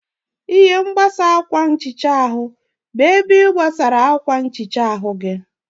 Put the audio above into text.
Ihe mkpuchi akwa nhicha bụ ebe ị kwụgidere akwa nhicha gị.